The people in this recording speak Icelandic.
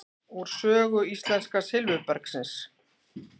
Úr sögu íslenska silfurbergsins.